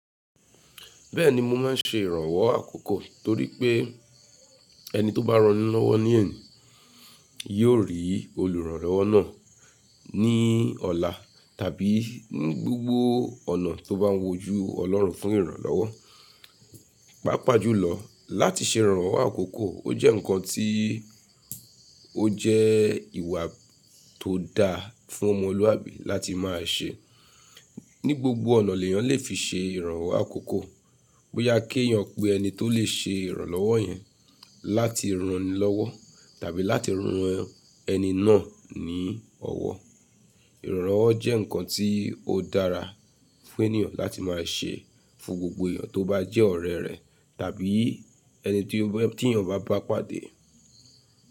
Bẹ́ẹ̀ni mo máa ń ṣe ìrànwọ́ àkọ́kọ́ torí pé ẹni tó bá ránilọ́wọ́ ní ẹ̀ni yóò rí olùránilọ́wọ́ náà ní ọ̀la tàbí ní gbogbo ọ̀nà tó bá ń wojú ọlọ́run fún ìrànlọ́wọ́. Pàápàá jùlọ láti ṣe ìrànwọ́ àkọ́kọ́, ó jẹ́ ǹkan tí ó jẹ́ ìwà tó da fún ọmọ olúwàbí láti máa ṣe. Ní gbogbo ọ̀nà lèyàn lè fi ṣe ìrànwọ́ àkọ́kọ́ bóyá kí èyàn pe ẹni tó lè ṣe ìrànlọ́wọ́ yẹn láti ránilọ́wọ́ tàbí láti rán ẹni náà ní ọwọ́. Ìrànlọ́wọ́ jẹ́ ǹkan tí ó dára fún ènìyàn láti máa ṣe fún gbogbo èyàn tó bá jẹ́ ọ̀rẹ́ rẹ̀ tàbí ẹni tí èyàn bá bá pàdé.